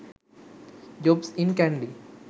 jobs in kandy